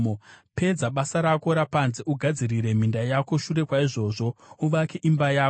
Pedza basa rako rapanze ugadzirire minda yako; shure kwaizvozvo, uvake imba yako.